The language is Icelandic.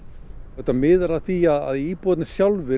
þetta miðar að því að íbúarnir sjálfir